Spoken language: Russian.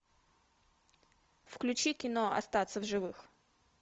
включи кино остаться в живых